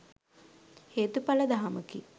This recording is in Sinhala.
හේතුඵල දහමකි.